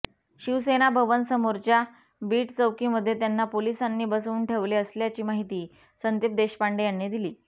शिवसेना भवन समोरच्या बीट चौकीमध्ये त्यांना पोलिसांनी बसवून ठेवले असल्याची माहिती संदीप देशपांडे यांनी दिली